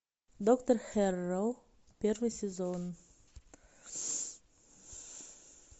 доктор хэрроу первый сезон